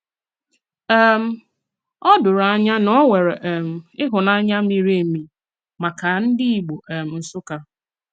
um Ó dòrò ànyà na ọ nwere um ịhụ́nanya miri emi maka ndị Ìgbò um Nsụ́kkà.